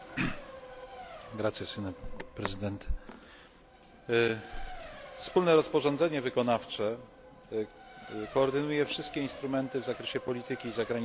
Wspólne rozporządzenie wykonawcze koordynuje wszystkie instrumenty w zakresie polityki zagranicznej Unii Europejskiej do 2020 r.